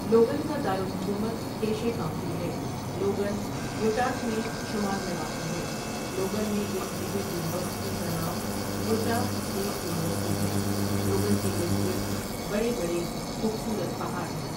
Logan کا دار الحکومت کیشے کاؤنٹی ہے لوگن یوٹاۃ میں شمال میں واقع ہے لوگن میں ایک میجر یونیورسٹی کا نام یوٹاہ اسٹیٹ یونیورسٹی ہے لوگن کے اردگرد بڑے بڑے خوبصورت پہاڑ ہیں